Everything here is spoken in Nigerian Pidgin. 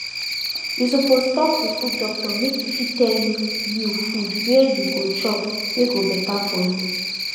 you suppose talk to food doctor make e fit tell you you food were you go chop wey go better for you